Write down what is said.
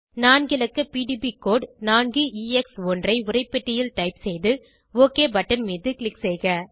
நான்கு இலக்க PDB code 4எக்ஸ்1 ஐ உரைப்பெட்டியில் டைப் செய்து ஒக் பட்டன் மீது க்ளிக் செய்க